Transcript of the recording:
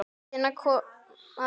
Hvenær kom aldrei.